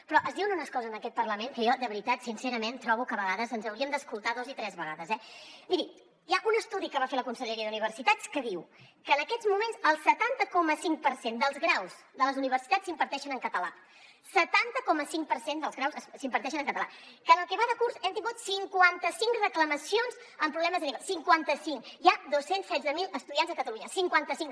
però es diuen unes coses en aquest parlament que jo de veritat sincerament trobo que a vegades ens hauríem d’escoltar dos i tres vegades eh miri hi ha un estudi que va fer la conselleria d’universitats que diu que en aquests moments el setanta coma cinc per cent dels graus de les universitats s’imparteixen en català setanta coma cinc per cent dels graus s’imparteixen en català que en el que va de curs hem tingut cinquanta cinc reclamacions amb problemes greus cinquanta cinc hi ha dos cents i setze mil estudiants a catalunya cinquanta cinc